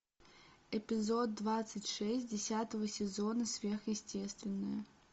эпизод двадцать шесть десятого сезона сверхъестественное